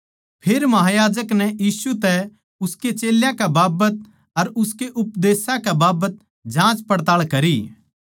फेर महायाजक नै यीशु तै उसकै चेल्यां कै बाबत अर उसकै उपदेश कै बाबत जाँचपड़ताळ करी